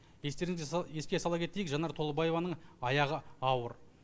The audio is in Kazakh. еске сала кетейік жанар толыбаеваның аяғы ауыр